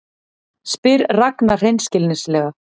spyr Ragna hreinskilnislega.